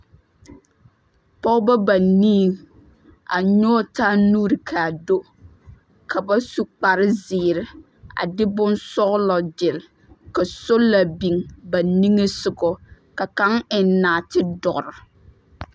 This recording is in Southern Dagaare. Pɔgeba banii, a nyɔge taa nuuri ka do ka ba su kpare zeere a de bonsɔgelɔ gyere ka sola biŋ ba niŋe soga ka kaŋa eŋ naate doɔre.